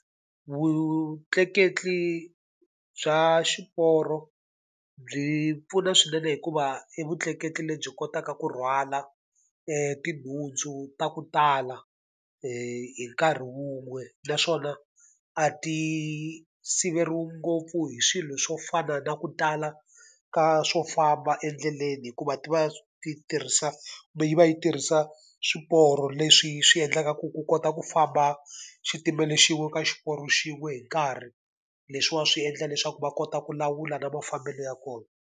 Vutleketli bya xiporo byi pfuna swinene hikuva i vutleketli lebyi kotaka ku rhwala tinhundzu ta ku tala hi nkarhi wun'we. Naswona a ti siveriwi ngopfu hi swilo swo fana na ku tala ka swo famba endleleni hikuva ti va ti tirhisa kumbe yi va yi tirhisa swiporo leswi swi endlaka ku ku kota ku famba xitimela xin'we ka xiporo xin'we hi nkarhi. Leswiwani swi endla leswaku va kota ku lawula na mafambelo ya kona.